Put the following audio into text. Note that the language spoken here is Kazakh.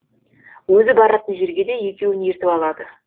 өзі баратын жерге де екеуін ертіп алады